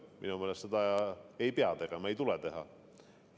Minu meelest seda ei pea tegema, ei tule teha.